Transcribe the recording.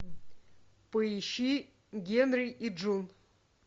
поищи генри и джун